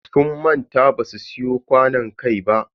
Sun manta basu siyo kwanon kai ba.